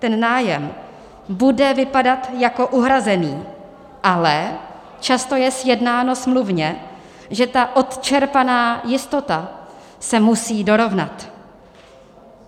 Ten nájem bude vypadat jako uhrazený, ale často je sjednáno smluvně, že ta odčerpaná jistota se musí dorovnat.